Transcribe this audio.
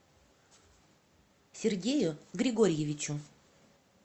сергею григорьевичу